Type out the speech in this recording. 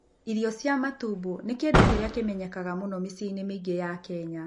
Irio cia matumbio nĩ kĩndũ kĩrĩa kĩmenyekaga mũno mĩciĩ-inĩ mĩingĩ ya Kenya.